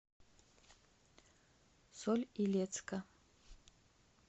соль илецка